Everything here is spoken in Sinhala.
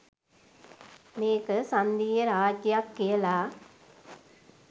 මේක සංධීය රාජ්‍යයක් කියලා.